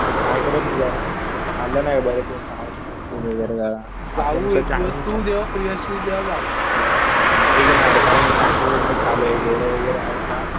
Try करेल मी जरा. खाल्लं नाही बरेच दिवस साऊथ इंडियन फूड वगैरे जरा. इकडचं चायनीज. तेच ना कारण कि चायनीज वगैरे चालू आहे. गोळ्या वगैरे आहेत ना.